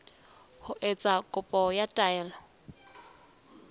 ho etsa kopo ya taelo